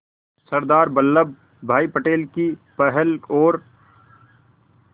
सरदार वल्लभ भाई पटेल की पहल और